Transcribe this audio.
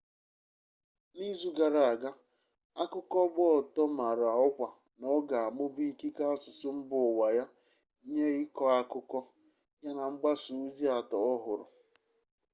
n'izu gara aga akụkọ gba ọtọ mara ọkwa na ọ ga-amụba ikike asụsụ mba ụwa ya nye ịkọ akụkọ ya na mgbasa ozi atọ ọhụrụ